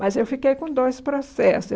Mas eu fiquei com dois processos.